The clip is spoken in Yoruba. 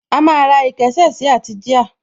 A máa ra ìkésà sí àti jíà